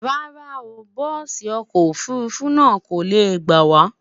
rárá o, bùsi ọkọ ofurufu náà kole gbawa